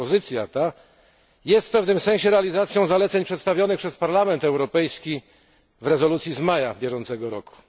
Propozycja ta jest w pewnym sensie realizacją zaleceń przedstawionych przez Parlament Europejski w rezolucji z maja bieżącego roku.